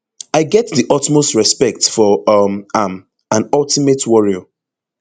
i get di utmost respect for um am an ultimate warrior